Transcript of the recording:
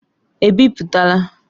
Ebipụtala!